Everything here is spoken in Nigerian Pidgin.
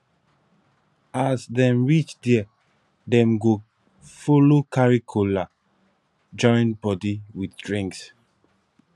as dem reach dia dem go follow carry kola join body with drinks